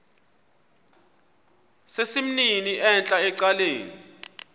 sesimnini entla ecaleni